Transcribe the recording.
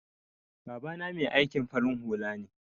Baba na Mai aikin farin hula ne.